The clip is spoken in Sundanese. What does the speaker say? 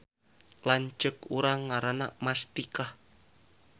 Lanceuk urang ngaranna Mastikah